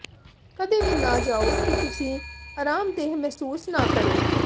ਕਦੇ ਵੀ ਨਾ ਜਾਉ ਕਿ ਤੁਸੀਂ ਅਰਾਮਦੇਹ ਮਹਿਸੂਸ ਨਾ ਕਰੋ